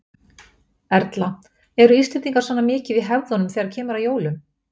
Erla: Eru Íslendingar svona mikið í hefðunum þegar kemur að jólum?